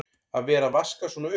Að vera að vaska svona upp!